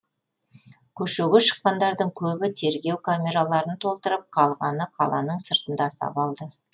көшеге шыққандардың көбі тергеу камераларын толтырып қалғаны қаланың сыртында сабалды